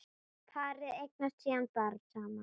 Parið eignast síðan barn saman.